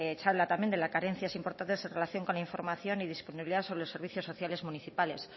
se habla también de la carencia es importante en relación con la información y disponibilidad sobre los servicios sociales municipales